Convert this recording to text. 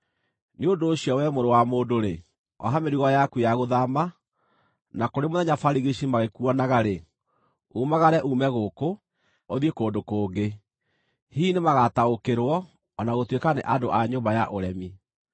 “Nĩ ũndũ ũcio wee mũrũ wa mũndũ-rĩ, oha mĩrigo yaku ya gũthaama, na kũrĩ mũthenya barigici magĩkuonaga-rĩ, umagare uume gũkũ, ũthiĩ kũndũ kũngĩ. Hihi nĩmagataũkĩrwo, o na gũtuĩka nĩ andũ a nyũmba ya ũremi.